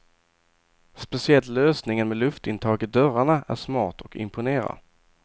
Speciellt lösningen med luftintag i dörrarna är smart och imponerar.